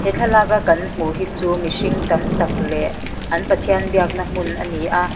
he thlalaka kan hmuh hi chu mihring tam tak leh an pathian biakna hmun a ni a.